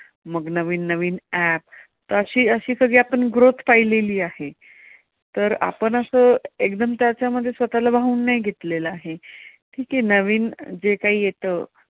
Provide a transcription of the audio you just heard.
मग नवीन app अशी आपण सगळी growth पाहिलेली आहे. तर आपण असं एकदम त्याच्यामध्ये स्वतःला वाहून नाही घेतलेलं आहे. ठिक आहे नवीन जे काही येतं.